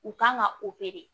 U kan ka